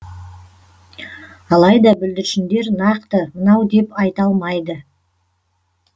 алайда бүлдіршіндер нақты мынау деп айта алмайды